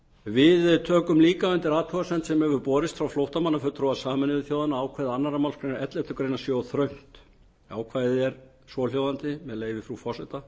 við tökum líka undir athugasemd sem borist hefur frá flóttamannafulltrúa sameinuðu þjóðanna að ákvæði önnur málsgrein elleftu grein sé of þröngt ákvæðið er svohljóðandi með leyfi frú forseta